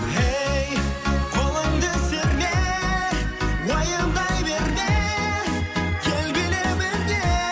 ей қолыңды серме уайымдай берме кел биле бірге